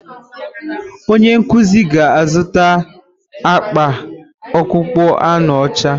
Onye nkuzi ga azuta akpa akpụkpọ anụ ọcha.